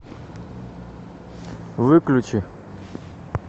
выключи